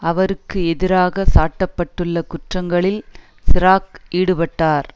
அவருக்கு எதிராக சாட்ட பட்டுள்ள குற்றங்களில் சிராக் ஈடுபட்டார்